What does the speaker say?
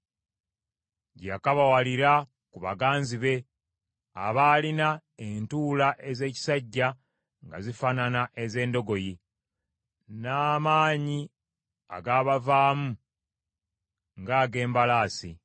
gye yakabawalira ku baganzi be, abaalina entula ez’ekisajja nga zifaanana ez’endogoyi, n’amaanyi agabavaamu ng’ag’embalaasi.